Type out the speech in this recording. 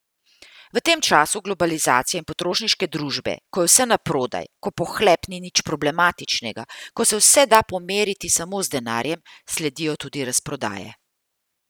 V tem času globalizacije in potrošniške družbe, ko je vse naprodaj, ko pohlep ni nič problematičnega, ko se vse da pomeriti samo z denarjem, sledijo tudi razprodaje.